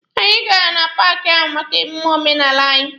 Anyị gara na paaki ahụ maka omume omenala anyị.